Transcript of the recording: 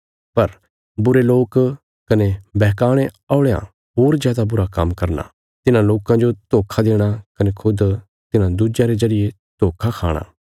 पर बुरे लोक कने बैहकाणे औल़यां होर जादा बुरा काम्म करना तिन्हां लोकां जो धोखा देणा कने खुद तिन्हां दुज्यां रे जरिये धोखा खाणा